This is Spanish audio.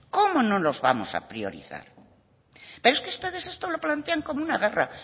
cómo no los vamos a priorizar pero es que ustedes esto lo plantean como una guerra